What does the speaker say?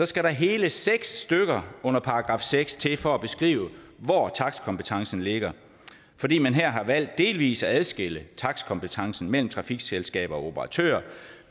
skal der hele seks stykke under § seks til for at beskrive hvor takstkompetencen ligger fordi man her har valgt delvis at adskille takstkompetencen mellem trafikselskaber og operatører